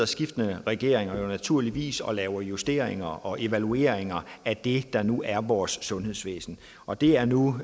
skiftende regeringer naturligvis sidder og laver justeringer og evalueringer af det der nu er vores sundhedsvæsen og det er nu